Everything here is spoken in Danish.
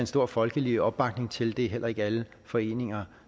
stor folkelig opbakning til det er heller ikke alle foreninger